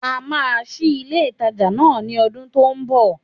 A máa sí ilé ìtajà náà ní odún tó n bò